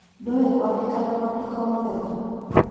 Ndiũĩ kwandĩka na mwandĩko mwega